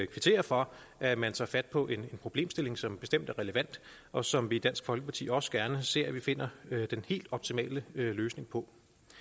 kvittere for at man tager fat på en problemstilling som bestemt er relevant og som vi i dansk folkeparti også gerne ser at vi finder den helt optimale løsning på